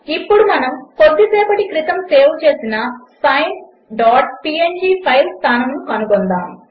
ఇప్పుడు మనము కొద్దిసేపటి క్రితము సేవ్ చేసిన sineపీఎన్జీ ఫైల్ స్థానమును కనుగొందాము